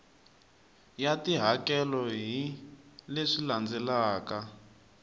ya tihakelo hi leswi landzelaka